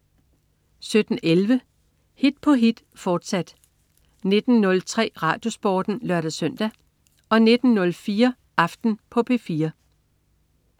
17.11 Hit på hit, fortsat 19.03 RadioSporten (lør-søn) 19.04 Aften på P4